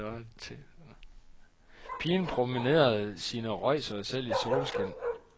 Pigen promenerede sine røjsere selv i solskin.